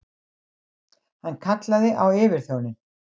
Hann kallaði á yfirþjóninn.